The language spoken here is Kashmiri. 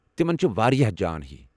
تمن چھِ وارِیاہ جان ہی ۔